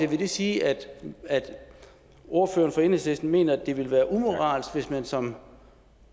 vil det sige at ordføreren for enhedslisten mener at det ville være umoralsk hvis man som